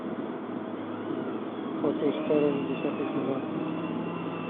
по ту сторону десятый сезон